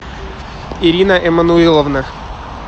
ирина эмманулиловна